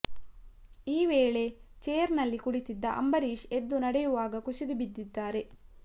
ಈ ವೇಳೆ ಚೇರ್ನಲ್ಲಿ ಕುಳಿತಿದ್ದ ಅಂಬರೀಶ್ ಎದ್ದು ನಡೆಯುವಾಗ ಕುಸಿದು ಬಿದ್ದಿದ್ದಾರೆ